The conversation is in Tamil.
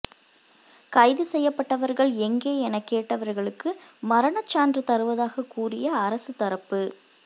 கைது செய்யப்பட்டவர்கள் எங்கே என கேட்டவர்களுக்கு மரணச்சான்று தருவதாக கூறிய அரச தரப்பு